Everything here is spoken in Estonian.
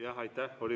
Jah, aitäh!